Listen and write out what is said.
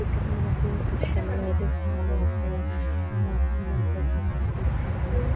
ఇక్కడ మనకు చాలా అయితే చాలా అపార్ట్మెంట్స్ అయితే కనిపిస్తుంది